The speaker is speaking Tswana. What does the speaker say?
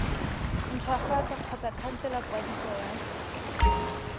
ntshwafatsa kgotsa khansela kwadiso ya